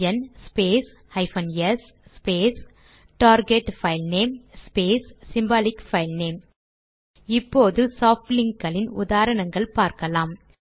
LN space hyphen S space target filename space symbolic filename இப்போது soft link களின் உதாரணங்கள் பார்க்கலாம்